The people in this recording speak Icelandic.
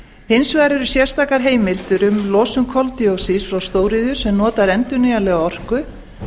hins vegar eru sérstakar heimildir um losun koldíoxíðs frá stóriðju sem notar endurnýjanlega orku